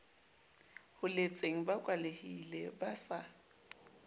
holetseng ba kwalehile ba sa